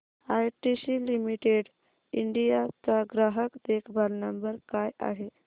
ITC limited India चा ग्राहक देखभाल नंबर काय आहे